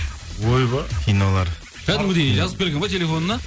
ойбай кинолар кәдімгідей жазып келген ғой телефонына